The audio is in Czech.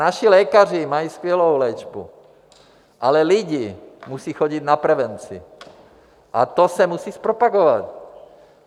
Naši lékaři mají skvělou léčbu, ale lidé musí chodit na prevenci a to se musí propagovat.